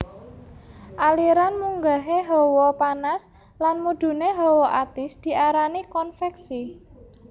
Aliran munggahé hawa panas lan mudhuné hawa atis diarani konveksi